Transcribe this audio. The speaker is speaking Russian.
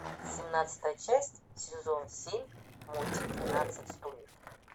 семнадцатая часть сезон семь мультик двенадцать стульев